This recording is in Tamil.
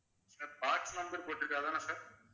sir box number போட்டிருக்கு அதான sir